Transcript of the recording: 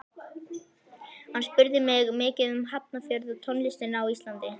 Hann spurði mig mikið um Hafnarfjörð og tónlistina á Íslandi.